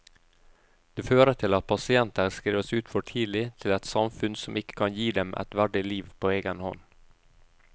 Det fører til at pasienter skrives ut for tidlig til et samfunn som ikke kan gi dem et verdig liv på egen hånd.